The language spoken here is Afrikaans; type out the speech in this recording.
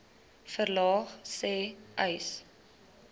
verlaag sê uys